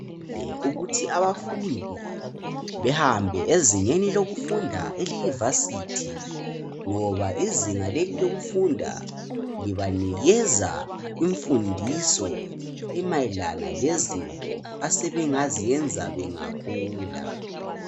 Ukuthi abafundi behambe ezingeni lokufunda eliyivasithi ngoba izinga leli lokufunda libanikeza imfundiso emayelana lezinto asebengaziyenza bengakhula